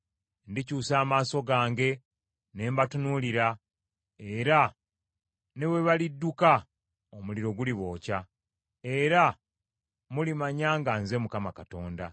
Ndikyusa amaaso gange ne mbatunuulira, era ne bwe balidduka, omuliro gulibookya, era mulimanya nga nze Mukama Katonda.